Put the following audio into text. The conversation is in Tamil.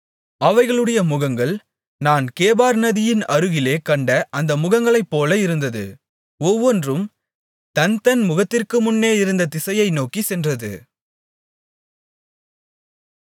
அவைகளுடைய முகங்கள் நான் கேபார் நதியின் அருகிலே கண்ட அந்த முகங்களைப் போல இருந்தது ஒவ்வொன்றும் தன்தன் முகத்திற்கு முன்னே இருந்த திசையை நோக்கிச் சென்றது